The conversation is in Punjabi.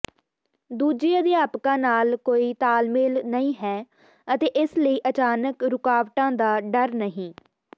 ਦੂਜੇ ਅਧਿਆਪਕਾਂ ਨਾਲ ਕੋਈ ਤਾਲਮੇਲ ਨਹੀਂ ਹੈ ਅਤੇ ਇਸ ਲਈ ਅਚਾਨਕ ਰੁਕਾਵਟਾਂ ਦਾ ਡਰ ਨਹੀਂ